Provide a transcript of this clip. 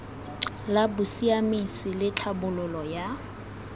la bosiamisi le tlhabololo ya